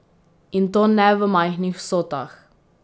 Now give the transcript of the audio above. In to ne v majhnih vsotah.